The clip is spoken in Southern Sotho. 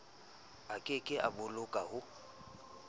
a keke a boloka ho